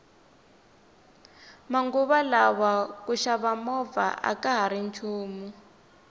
manguva lawa ku xava movha akahari nchumu